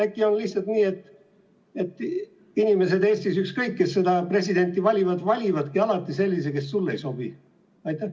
Äkki on lihtsalt nii, et inimesed Eestis, ükskõik, kes seda presidenti valivad, valivadki alati sellise, kes sulle ei sobi?